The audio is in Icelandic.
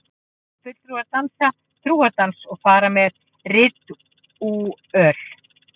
Fulltrúar dansa trúardans og fara með ritúöl.